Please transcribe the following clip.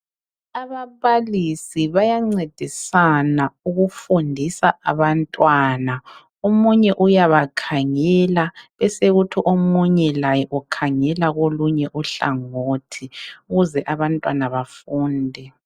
ababalisi bayancedisana ukufundisa abantwana omunye uyabakhangela besekuthi omunye laye ukhangela kolunye uhlangothi ukuze abantwana bafunde